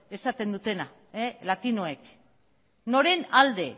esaten dutena latinoek noren alde